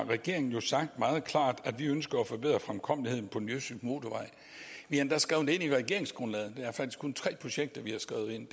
har regeringen sagt meget klart at vi ønsker at forbedre fremkommeligheden på den østjyske motorvej vi har endda skrevet det ind i regeringsgrundlaget der er faktisk kun tre projekter vi har skrevet ind